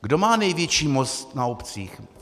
Kdo má největší moc na obcích?